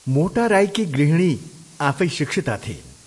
मोटा राईकी गृहिणी आफै शिक्षिता थिइन्।